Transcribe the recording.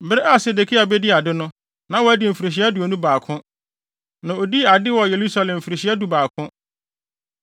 Bere a Sedekia bedii ade no, na wadi mfirihyia aduonu baako, na odii ade wɔ Yerusalem mfirihyia dubaako.